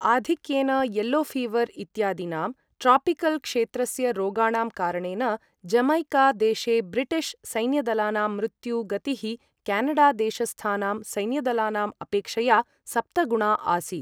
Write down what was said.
आधिक्येन yellow fever इत्यादीनां tropical क्षेत्रस्य रोगाणां कारणेन, जमैका देशे ब्रिटिश् सैन्यदलानां मृत्यु गतिः क्यानडा देशस्थानां सैन्यदलानाम् अपेक्षया सप्तगुणा आसीत्।